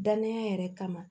Dananya yɛrɛ kama